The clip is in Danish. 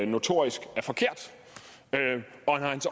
notorisk er forkert